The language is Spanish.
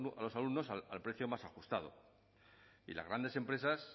a los alumnos al precio más ajustado y las grandes empresas